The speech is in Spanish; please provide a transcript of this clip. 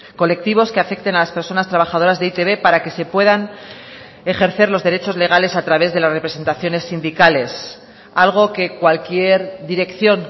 colectivos que afecten a las personas trabajadoras de e i te be para que se puedan ejercer los derechos legales a través de las representaciones sindicales algo que cualquier dirección